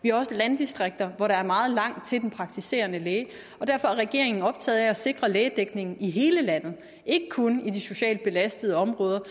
vi har også landdistrikter hvor der er meget langt til den praktiserende læge derfor er regeringen optaget af at sikre lægedækningen i hele landet ikke kun i de socialt belastede områder